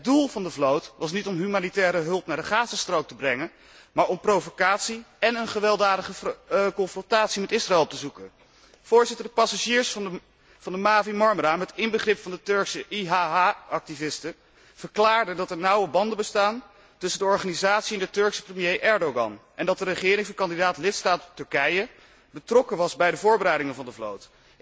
Het doel van de vloot was niet om humanitaire hulp naar de Gazastrook te brengen, maar om provocatie en een gewelddadige confrontatie met Israël te zoeken. De passagiers van de Mavi Marmara met inbegrip van de Turkse IHH activisten, verklaarden dat er nauwe banden bestaan tussen de organisatie en de Turkse premier Erdogan, en dat de regering van kandidaat lidstaat Turkije betrokken was bij de voorbereidingen van de vloot.